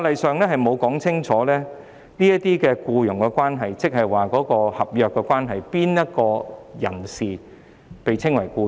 法例沒有清楚訂明這些僱傭關係是合約關係，以及誰是"僱員"。